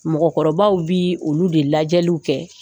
Mɔgɔkɔrɔbaw bi olu de lajɛliw kɛ